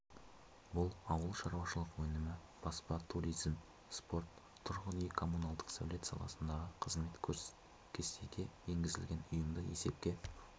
бұл ауылшаруашылық өнімі баспа туризм спорт тұрғын-үй коммуналдық сәулет саласындағы қызмет кестеге енгізілген ұйымды есепке